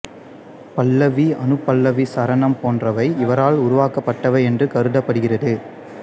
பல்லவி அநுபல்லவி சரணம் போன்றவை இவரால் உருவாக்கப்பட்டவை என்று கருதப்படுகிறது